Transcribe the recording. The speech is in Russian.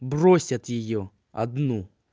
бросят её одну